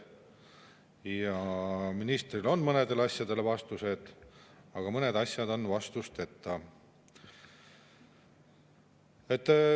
Ja ministril on mõnedele asjadele vastused, aga mõned asjad on vastusteta.